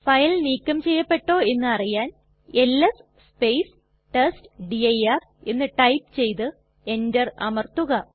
file നീക്കം ചെയ്യപ്പെട്ടോ എന്നറിയാൻ എൽഎസ് ടെസ്റ്റ്ഡിർ എന്ന് ടൈപ്പ് ചെയ്തു എന്റർ അമർത്തുക